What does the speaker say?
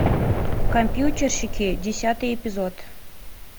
компьютерщики десятый эпизод